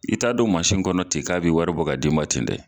I t'a don mansin kɔnɔ ten k'a bɛ wari bɔ ka d'i ma ten dɛ